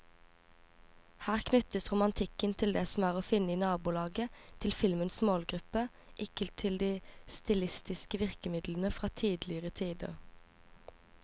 Her knyttes romantikken til det som er å finne i nabolaget til filmens målgruppe, ikke til de stilistiske virkemidlene fra tidligere tider.